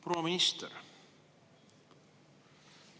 Proua minister!